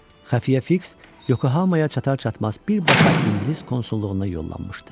Xəfiyyə Fiks Yokohamaya çatar-çatmaz birbaşa ingilis konsulluğuna yollanmışdı.